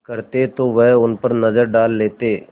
करते तो वह उन पर नज़र डाल लेते